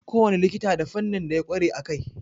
Kowane likita da fannin da ya ƙware a kai.